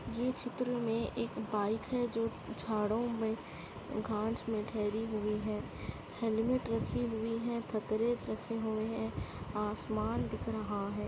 ये चित्र में एक बाइक है जो में घास में ठहरी हुई है हेलमेट रखी हुई है रखे हुए हैं आसमान दिख रहा है।